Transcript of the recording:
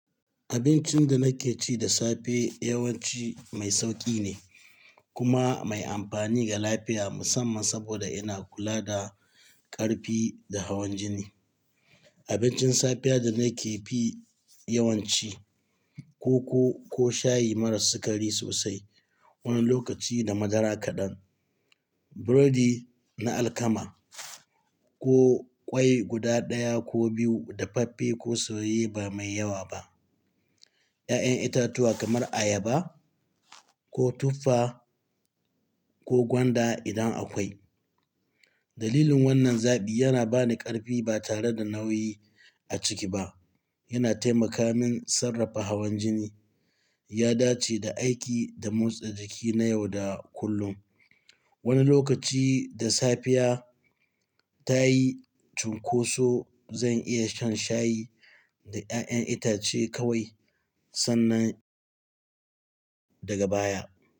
Abincin da nake ci da safe yawanci mai sauƙi ne kuma mai amfani ga lafiya musamman saboda ina kula da ƙarfi da hawan jini. Abincin safiya da nake fi yawanci, koko ko shayi maras sukari sosai, wani lokaci da madara kaɗan, burodi na alkama ko ƙwai guda ɗaya ko biyu da faffe ko soyayye ba mai yawa ba. 'Ya'yan itatuwa kamar ayaba ko tuffa ko gwanda idan akwai. Dalilin wannan zaɓi yana ba ni ƙarfi ba tare da nauyi a ciki ba. Yana taimaka min sarrafa hawan jini, ya dace da aiki da motsa jiki na yau da kullum. Wani lokaci da safiya ta yi cunkoso, zan iya shan shayi da 'ya'yan itace kawai sannan daga baya.